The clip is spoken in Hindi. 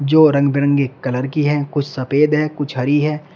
जो रंग बिरंगे कलर की है कुछ सफेद है कुछ हरी है।